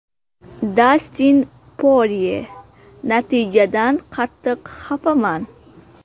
Dastin Porye: Natijadan qattiq xafaman.